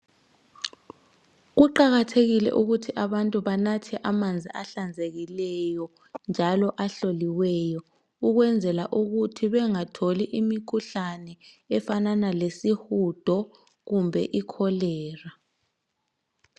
Kuqakathekile ukuthi abantu banathe amanzi ahlanzekileyo njalo ahloliweyo ukwenzela ukuthi bengatholi imikhuhlane efanana lesihudo kumbe ikholera.